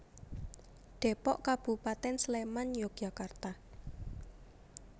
Dépok Kabupatén Sléman Yogyakarta